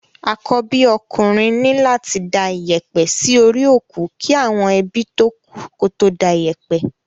Àkọ́bí okùnrin ní láti da iyẹ̀pẹ̀ sí orí òkú kí àwọn ebí tókù tó da iyẹ̀pẹ̀.